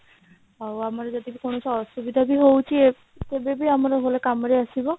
ଆଉ ଆମର ଯଦି କୌଣସି ଅସୁବିଧା ବି ହଉଛି କେବେ ବି ହେଲେ ଆମର କାମରେ ଆସିବ